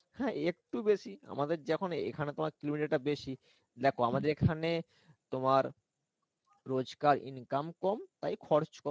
হ্যা একটু বেশি আমাদের যখন এখানে তোমার kilometer টা বেশি দেখো আমাদের এখানে তোমার রোজকার income কম তাই খরচ কম